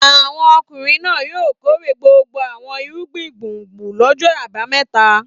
Àwọn ọkùnrin náà yóò kórè gbogbo àwọn irúgbìn gbùngbùn lọ́jọ́ àbámẹ́ta.